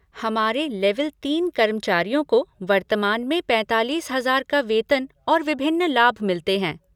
हमारे लेवल तीन कर्मचारियों को वर्तमान में पैंतालीस हजार का वेतन और विभिन्न लाभ मिलते हैं।